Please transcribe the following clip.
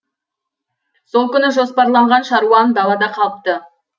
сол күні жоспарланған шаруам далада қалыпты